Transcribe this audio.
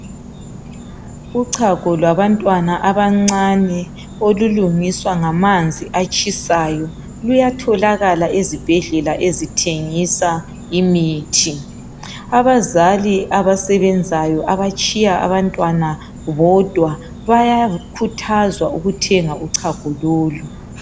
Uchago lwabantwana abancane olulungiswa ngamanzi atshisayo luyatholakala ezibhedlela ezithengisa imithi. Abazali abasebenzayo abatshiya abantwana bodwa bayakhuthazwa ukuthenga uchago lolu.